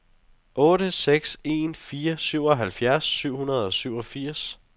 otte seks en fire syvoghalvfjerds syv hundrede og fireogfirs